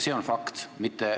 See on fakt.